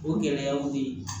O gɛlɛyaw bɛ ye